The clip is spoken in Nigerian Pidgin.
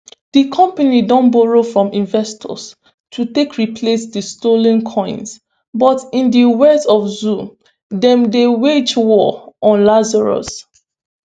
di company don borrow from investors to take replace di stolen coins but in di words of zhou dem dey wage war on lazarus